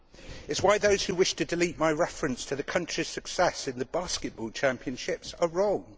It is why those who wish to delete my reference to the country's success in the basketball championships are wrong.